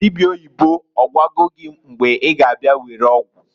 Dịbịa oyibo, ọgwago gị mgbe I ga abịa were ọgwụ?